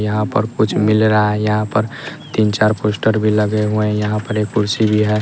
यहाँ पर कुछ मिल रहा है यहाँ पर तीन-चार पोस्टर भी लगे हुए हैं यहाँ पर एक कुर्सी भी है।